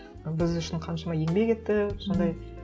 біз үшін қаншама еңбек етті сондай